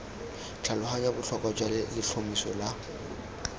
tlhaloganya botlhokwa jwa letlhomeso la